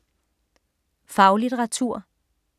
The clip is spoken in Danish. Faglitteratur